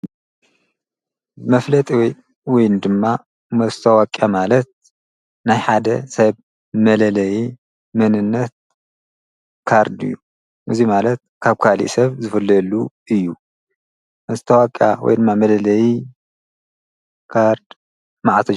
መፍለጥ ወይኒ ድማ መስተዋቅያ ማለት ናይ ሓደ ሳይብ መለለየ ምንነት ካርድ እዩ እዙይ ማለት ካብ ካሊእ ሰብ ዝፈለሉ እዩ መስተዋቅ ወይ ድማ መለለይ ካርድ መዓ።